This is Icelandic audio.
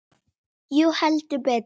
Jú, heldur betur.